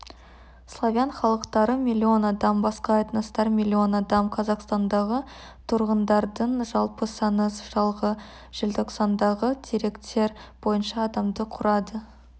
славян халықтары миллион адам басқа этностар миллион адам қазақстандағы тұрғындардың жалпы саны жылғы желтоқсандағы деректер бойынша адамды құрады